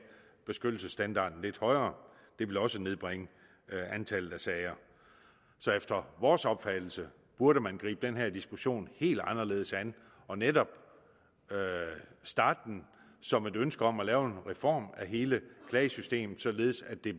beskyttelsesstandarden lidt højere det ville også nedbringe antallet af sager så efter vores opfattelse burde man gribe den her diskussion helt anderledes an og netop starte den som et ønske om at lave en reform af hele klagesystemet således at det